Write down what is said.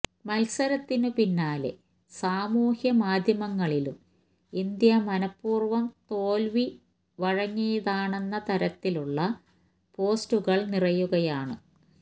മത്സരത്തിനു പിന്നാലെ സാമൂഹ്യ മാധ്യമങ്ങളിലും ഇന്ത്യ മനപൂര്വം തോല്വി വഴങ്ങിയതാണെന്ന തരത്തിലുള്ള പോസ്റ്റുകള് നിറയുകയാണ്